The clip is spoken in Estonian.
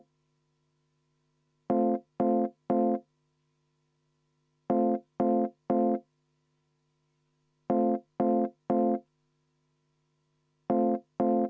V a h e a e g